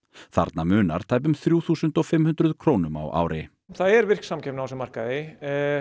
þarna munar tæpum þrjú þúsund og fimm hundruð krónum á ári það er virk samkeppni á þessum markaði